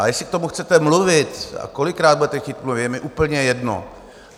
A jestli k tomu chcete mluvit a kolikrát budete chtít mluvit, je mi úplně jedno.